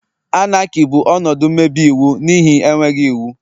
Anarchy bụ ọnọdụ mmebi iwu n'ihi enweghị iwu.